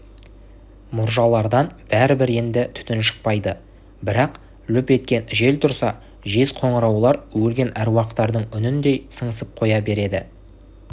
мұржалардан бәрібір енді түтін шықпайды бірақ лүп еткен жел тұрса жез қоңыраулар өлген аруақтардың үніндей сыңсып қоя береді